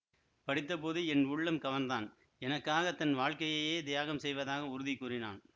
படித்தபோது என் உள்ளம் கவர்ந்தான் எனக்காகத் தன் வாழ்க்கையையே தியாகம் செய்வதாக உறுதி கூறினான்